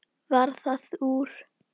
Varð það úr.